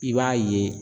I b'a ye